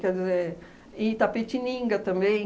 Quer dizer, em Itapetininga também.